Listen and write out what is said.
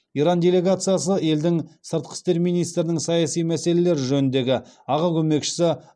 иран делегациясы елдің сыртқы істер министрінің саяси мәселелер жөніндегі аға көмекшісі